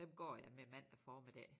Dem går jeg med mandag formiddag